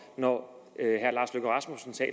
når